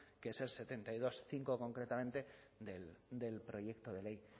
que es el setenta y dos punto cinco concretamente del proyecto de ley